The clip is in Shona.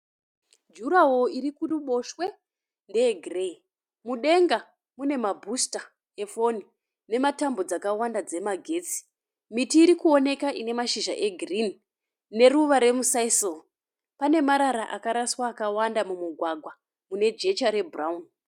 Jura woro iri kuruboshwe ndeye gireyi. Mudenga mune ma booster e foni nematambo dzakawanda dzemagetsi. Miti irikuoneka ine mashizha e girinhi neruva remu Sisal. Pane marara akaraswa akawanda mumugwagwa mune jecha re bhurauni.